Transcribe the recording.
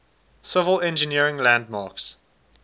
civil engineering landmarks